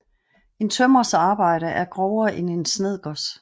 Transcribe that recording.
En tømrers arbejde er grovere end en snedkers